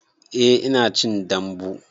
Eh ina cin dambu